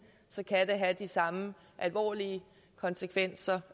have de samme alvorlige konsekvenser